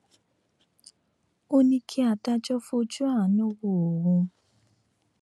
ó ní kí adájọ fojú àánú wo òun